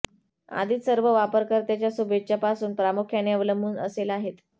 आधीच सर्व वापरकर्त्याच्या शुभेच्छा पासून प्रामुख्याने अवलंबून असेल आहेत